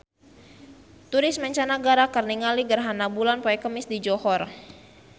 Turis mancanagara keur ningali gerhana bulan poe Kemis di Johor